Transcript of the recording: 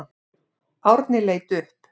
Árni leit upp.